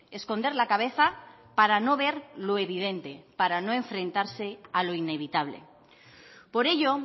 esconder la cabeza para no ver lo evidente para no enfrentarse a lo inevitable por ello